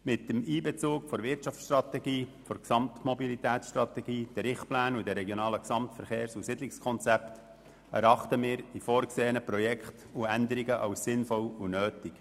Mit dem Einbezug der Wirtschaftsstrategie, der Gesamtmobilitätsstrategie, der Richtpläne sowie der Regionalen Gesamtverkehrs- und Siedlungskonzepte erachten wir die vorgesehenen Projekte und Änderungen als sinnvoll und nötig.